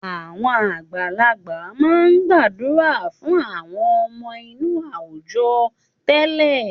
Àwọn àgbàlagbà máa ń gbàdúrà fún àwọn ọmọ inú àwùjọ tẹ́lẹ̀.